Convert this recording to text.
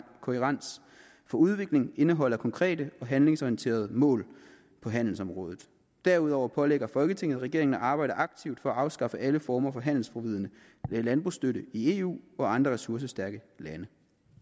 udvikling indeholder konkrete og handlingsorienterede mål på handelsområdet derudover pålægger folketinget regeringen at arbejde aktivt for at afskaffe alle former for handelsforvridende landbrugsstøtte i eu og andre ressourcestærke lande